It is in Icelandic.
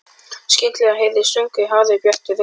Skyndilega heyrist sungið hárri, bjartri röddu.